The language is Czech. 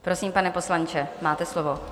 Prosím, pane poslanče, máte slovo.